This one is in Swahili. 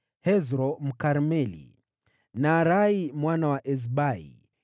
Hezro Mkarmeli, Naarai mwana wa Ezbai,